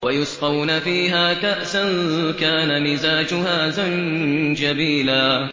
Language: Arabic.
وَيُسْقَوْنَ فِيهَا كَأْسًا كَانَ مِزَاجُهَا زَنجَبِيلًا